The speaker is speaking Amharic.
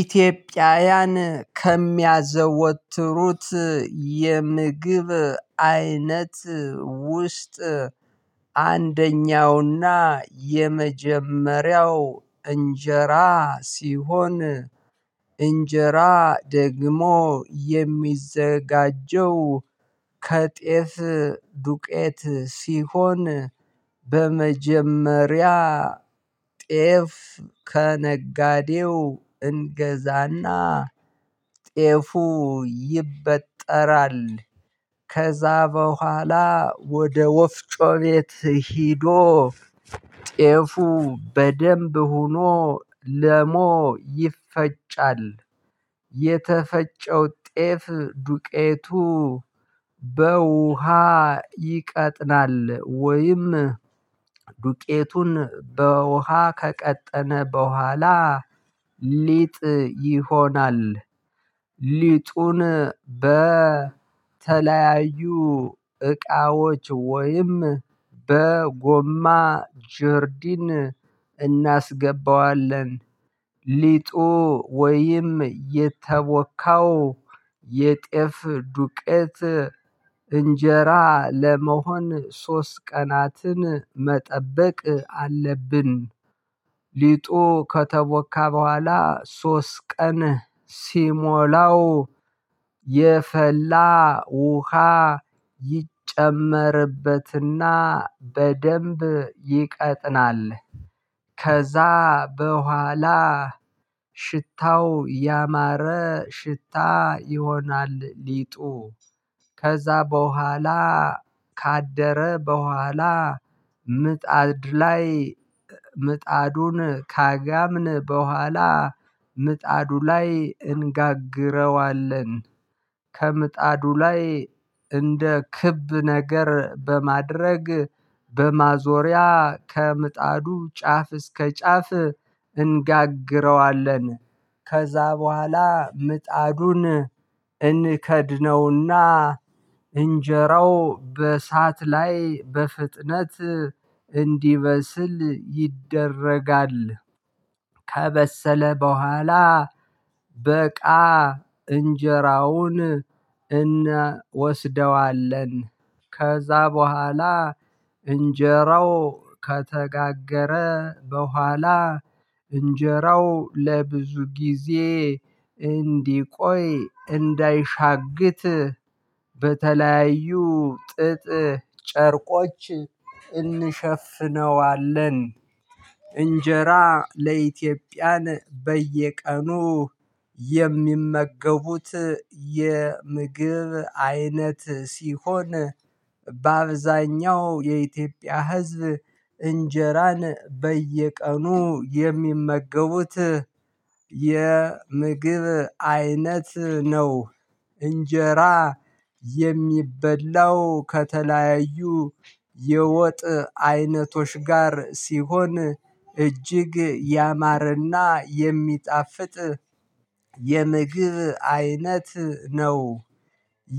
ኢትዮጵያውያን ከሚያዘወትሩት የምግብ አይነት ውስጥ አንደኛውና የመጀመሪያው እንጀራ ሲሆን። እንጀራ ደግሞ የሚዘጋጀው ከጤፍ ዱቄት ሲሆን። በመጀመሪያ ጤፍ ከነጋዴው እንገዛና ጤፉ ይበጠራል። ከዛ በኋላ ወደ ወፍጮ ቤት ሂዶ ጤፉ በደንብ ሆኖ ለሞ ይፈጫል። የተፈጨው ጤፍ ዱቄቱ በውሃ ይቀጥናል። ወይም ዱቄቱን በውሃ ከቀጠነ በኋላ ሊጥ ይሆናል። ሊጡን በተለያዩ እቃዎች ወይም በጎማ ጆርዲን እናስገባዋለን። ሊጡ ወይም የተቦካው የጤፍ ዱቄት እንጀራ ለመሆን ሶስት ቀናትን መጠበቅ አለብን። ሊጦ ከተቦካ በኋላ ሶስት ቀን ሲሞላው የፈላ ውሃ ይጨመርበትና በደንብ ይቀጥናል። ከዛ በኋላ ሽታው ያማረ ሽታ ይሆናል። ሊጡ ከዛ በኋላ ካደረ በኋላ ምጣድ ላይ ምጣዱን ካጋምን በኋላ ምጣዱ ላይ እንጋግረዋለን። ከምጣዱ ላይ እንደ ክብ ነገር በማድረግ በማዞሪያ ከምጣዱ ጫፍ እስከ ጫፍ እንጋግረዋለን። ከዛ በኋላ ምጣዱን እንከድነውና እንጀራው በእሳት ላይ በፍጥነት እንዲበስል ይደረጋል። ከበሰለ በኋላ በቃ እንጀራውን እናወስደዋለን። ከዛ በኋላ እንጀራው ከተጋገረ በኋላ እንጀራው ለብዙ ጊዜ እንዲቆይ እንዳይሻግት በተለያዩ ጥጥ ጨርቆች እንሸፍነዋለን። እንጀራ ለኢትዮጵያን በየቀኑ የሚመገቡት የምግብ አይነት ሲሆን በአብዛኛው የኢትዮጵያ ህዝብ እንጀራን በየቀኑ የሚመገቡት የምግብ አይነት ነው። እንጀራ የሚበላው ከተለያዩ የወጥ አይነቶች ጋር ሲሆን እጅግ ያማረና የሚጣፍጥ የምግብ አይነት ነው።